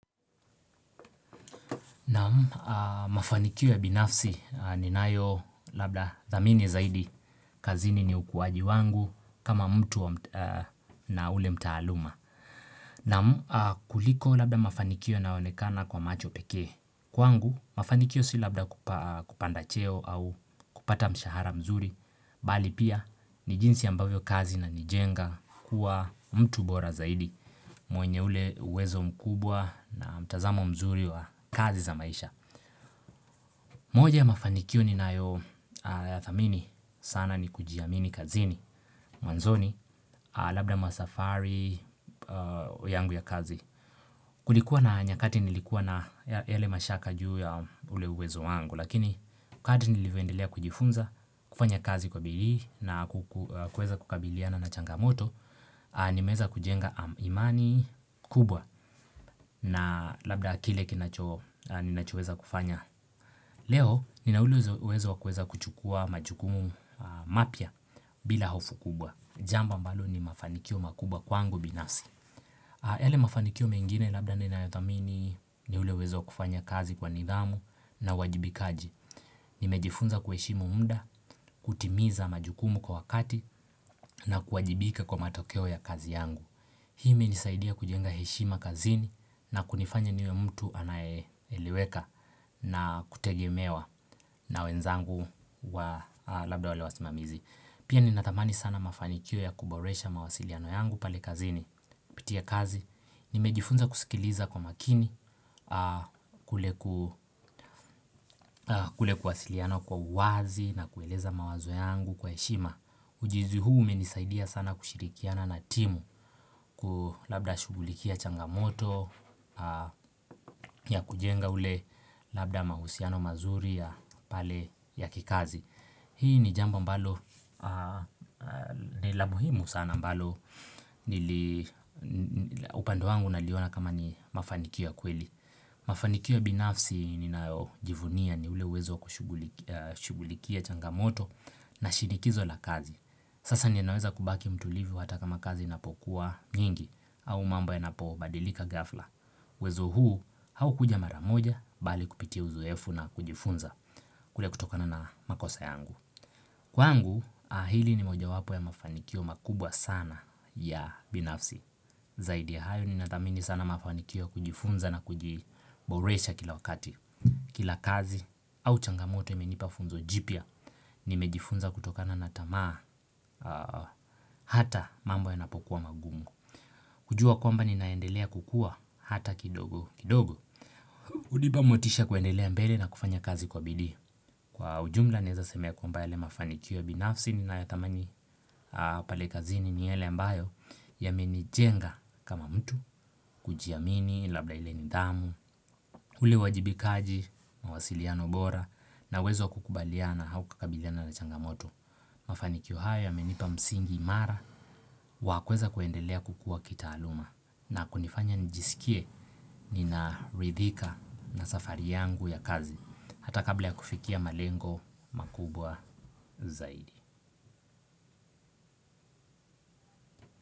Naam mafanikio ya binafsi ninayo labda dhamini zaidi kazini ni ukuwaji wangu kama mtu na ule mtaaluma. Naam kuliko labda mafanikio naonekana kwa macho pekee. Kwangu, mafanikio si labda kupa kupanda cheo au kupata mshahara mzuri. Bali pia ni jinsi ambavyo kazi inanijenga kuwa mtu bora zaidi mwenye ule uwezo mkubwa na mtazamo mzuri wa kazi za maisha moja ya mafanikio ni na yo thamini sana ni kujiamini kazini mwanzoni labda masafari yangu ya kazi kulikuwa na nyakati nilikuwa na ele mashaka juu ya ule uwezo wangu lakini kati nilivyondelea kujifunza kufanya kazi kwa bidii na ku kueza kukabiliana na changamoto Nimeeza kujenga imani kubwa na labda kile kinacho ninachoeza kufanya leo nina ule uwezo kukuweza kuchukua majukumu mapya bila hofu kubwa Jambo ambalo ni mafanikio makubwa kwangu binafsi yale mafanikio mengine labda ninayothamini ni ule uwezo kufanya kazi kwa nidhamu na uwajibikaji Nimejifunza kuheshimo muda, kutimiza majukumu kwa wakati, na kuajibika kwa matokeo ya kazi yangu, hii imenisaidia kujenga heshima kazini na kunifanya niwe mtu anaeleweka na kutegemewa na wenzangu wa Labda wale wasimamizi. Pia ninatamani sana mafanikio ya kuboresha mawasiliano yangu pale kazini kupitia kazi nimejifunza kusikiliza kwa makini kule kuwasiliana kwa uwazi na kueleza mawazo yangu kwa heshima Ujizu huu umenisaidia sana kushirikiana na timu ku labda shugulikia changamoto ya kujenga ule labda mahusiano mazuri ya pale ya kikazi Hii ni jambo ambalo ni la muhimu sana ambalo nili upande wangu naliona kama ni mafanikia kweli Mafanikio binafsi ninao jivunia ni ule wezo kushugulikia changamoto na shinikizo la kazi Sasa ninaweza kubaki mtulivu hata kama kazi inapokuwa nyingi au mambo ya napo badilika ghafla. Uwezo huu hau kuja mara moja bali kupitia uzoefu na kujifunza kule kutokana na makosa yangu. Kwangu hili ni moja wapo ya mafanikio makubwa sana ya binafsi. Zaidi ya hayo ninathamini sana mafanikio kujifunza na kujiboresha kila wakati. Kila kazi au changamoto imenipa funzo jipya, nimejifunza kutokana natamaa hata mambo yanapo kuwa mangumu kujua kwamba ni naendelea kukua hata kidogo kidogo. Hunipa motisha kuendelea mbele na kufanya kazi kwa bidii. Kwa ujumla naeza sema ya kwamba yale mafanikio binafsi nina ya thamani pale kazini ni yale ambayo yamenijenga kama mtu, kujiamini labla ile nidhamu ule wajibikaji mawasiliano bora na wezo kukubaliana hau kukabiliana na changamoto Mafanikio haya yamenipa msingi imara Wakweza kuendelea kukua kitaaluma na kunifanya njisikie nina ridhika na safari yangu ya kazi hata kabla ya kufikia malengo makubwa zaidi.